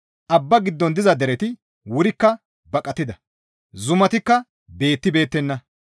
Abba giddon diza dereti wurikka baqatida; zumatikka beettibeettenna.